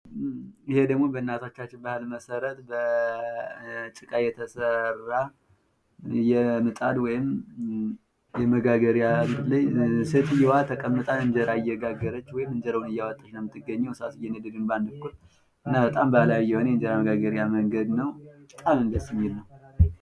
ይሄ ደግሞ በእናቶቻችን ባህል መሰረት በጭቃ የተሰራ የምጣድ ወይም የመጋገሪያ ነው። ሴትዮዋ ተቀምጣ እንጀራ እየጋገረች ነው የምትገኘው። እሳት እየነደደ ነው በአንድ በኩል። እና ባህላዊ የሆነ የእንጀራ መጋገሪያ መንገድ ነው። በጣም ነው ደስ የሚል።